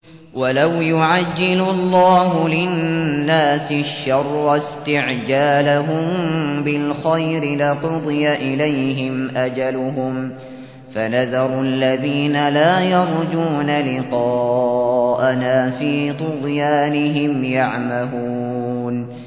۞ وَلَوْ يُعَجِّلُ اللَّهُ لِلنَّاسِ الشَّرَّ اسْتِعْجَالَهُم بِالْخَيْرِ لَقُضِيَ إِلَيْهِمْ أَجَلُهُمْ ۖ فَنَذَرُ الَّذِينَ لَا يَرْجُونَ لِقَاءَنَا فِي طُغْيَانِهِمْ يَعْمَهُونَ